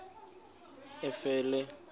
efele